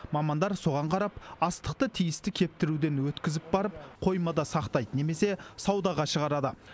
мамандар соған қарап астықты тиісті кептіруден өткізіп барып қоймада сақтайды немесе саудаға шығарады